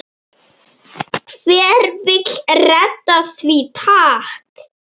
Hver vill redda því takk?